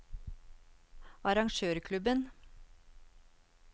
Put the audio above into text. arrangørklubben